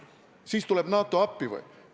Kas siis tuleb NATO appi või?